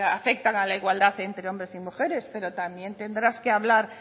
afectan a la igualdad entre hombres y mujeres pero también tendrás que hablar